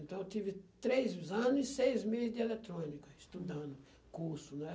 Então, eu tive três anos e seis meses de eletrônica, estudando curso, né?